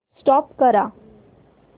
stop करा